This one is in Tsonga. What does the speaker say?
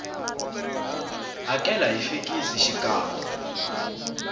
hakela hi fekisi xikan we